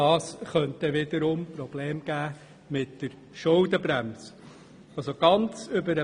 Das könnte wiederum mit der Schuldenbremse zu Problemen führen.